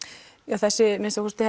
þessi að minnsta kosti